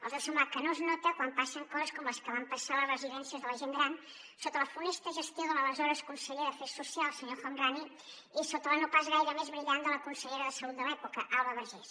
els deu semblar que no es nota quan passen coses com les que van passar a les residències de la gent gran sota la funesta gestió de l’aleshores conseller d’afers socials el senyor el homrani i sota la no pas gaire més brillant de la consellera de salut de l’època alba vergés